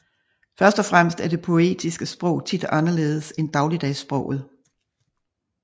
Første og fremmest er det poetiske sprog tit anderledes end dagligdagssproget